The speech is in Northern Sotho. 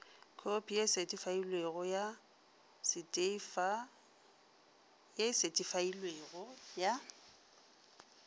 khopi ye e setheifailwego ya